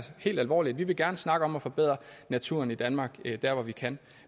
helt alvorligt vi vil gerne snakke om at forbedre naturen i danmark der hvor vi kan